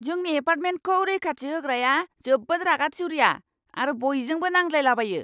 जोंनि एपार्टमेन्टखौ रैखाथि होग्राया जोबोद रागा थिउरिया आरो बयजोंबो नांज्लायलाबायो!